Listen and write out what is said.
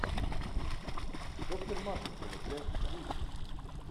доктор машинкова часть тридцать